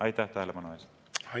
Aitäh tähelepanu eest!